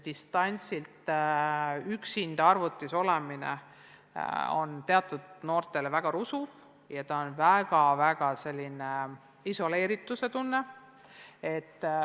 Distantsilt õppides üksinda arvuti ees olemine on teatud noortele väga rusuv ja tekitab sellist isoleerituse tunnet.